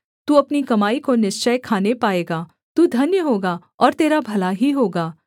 तू अपनी कमाई को निश्चय खाने पाएगा तू धन्य होगा और तेरा भला ही होगा